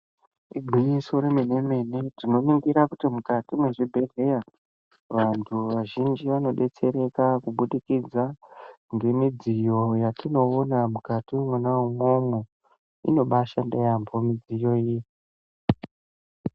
Igwinyiso remene-mene, tinoringire kuti mukati mezvibhedhlera vantu vazhinji vanodetsereka kubudikidza ngemidziyo yetinoona mukati mwona umwomwo. Inobaashanda yaamho midziyo iyi.